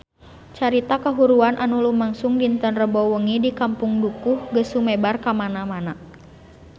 Carita kahuruan anu lumangsung dinten Rebo wengi di Kampung Dukuh geus sumebar kamana-mana